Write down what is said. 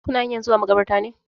Kuna hanyan zuwa maƙabartar ne?